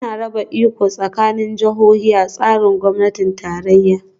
Ana raba iko tsakanin jihohi a tsarin gwamnatin tarayya